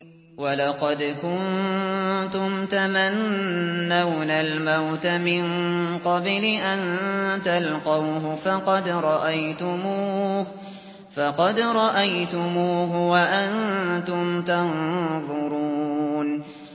وَلَقَدْ كُنتُمْ تَمَنَّوْنَ الْمَوْتَ مِن قَبْلِ أَن تَلْقَوْهُ فَقَدْ رَأَيْتُمُوهُ وَأَنتُمْ تَنظُرُونَ